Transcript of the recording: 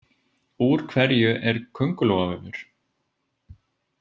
Úr hverju er köngulóarvefur?